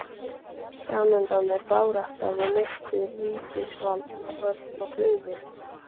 Framundan er barátta við myrkur, ríkisvald með horn og klaufir.